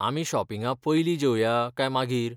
आमी शॉपिंगा पयलीं जेवया काय मागीर?